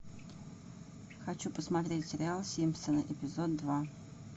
хочу посмотреть сериал симпсоны эпизод два